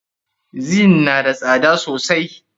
Zin na da tsada sosai.